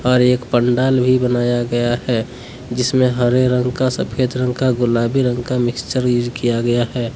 अरे एक पंडाल भी बनाया गया है जिसमे हरे रंग का सफेद रंग का गुलाबी रंग का मिक्चर यूज किया गया है।